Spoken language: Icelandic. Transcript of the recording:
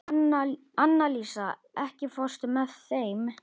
Annalísa, ekki fórstu með þeim?